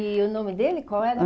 E o nome dele, qual era